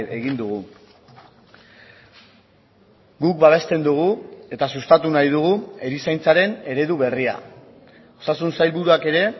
egin dugu guk babesten dugu eta sustatu nahi dugu erizaintzaren eredu berria osasun sailburuak ere